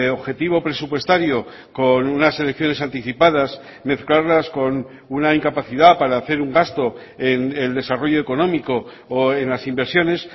objetivo presupuestario con unas elecciones anticipadas mezclarlas con una incapacidad para hacer un gasto en el desarrollo económico o en las inversiones